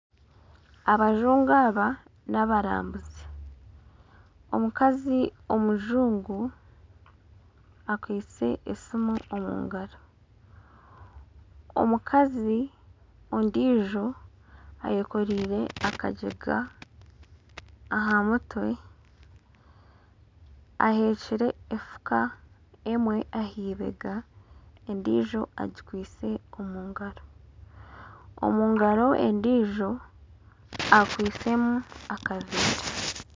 Abajungu aba naabarambuzi omukazi omujungu akwitse esiimu omu ngaro omukazi ondiijo eyekoriire akagyega aha mutwe ahekiire efuka emwe aha eibega endiijo agikwitse omu ngaro omu ngaro endiijo akwitsemu akaveera